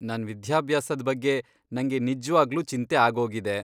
ನನ್ ವಿದ್ಯಾಭ್ಯಾಸದ್ ಬಗ್ಗೆ ನಂಗೆ ನಿಜ್ವಾಗ್ಲೂ ಚಿಂತೆ ಆಗೋಗಿದೆ.